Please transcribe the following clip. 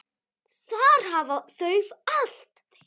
Þar hafa þau allt.